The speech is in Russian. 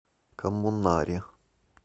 коммунаре